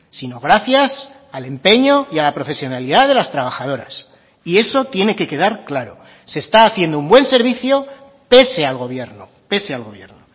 sino gracias al empeño y a la profesionalidad de las trabajadoras y eso tiene que quedar claro se está haciendo un buen servicio pese al gobierno pese al gobierno